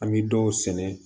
An bɛ dɔw sɛnɛ